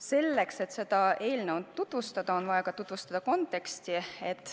Selleks, et seda eelnõu tutvustada, on vaja tutvustada ka konteksti.